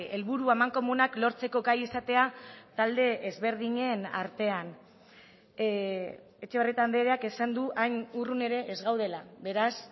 helburu amankomunak lortzeko gai izatea talde ezberdinen artean etxebarrieta andreak esan du hain urrun ere ez gaudela beraz